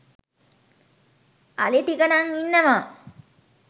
අලිටික නං ඉන්නව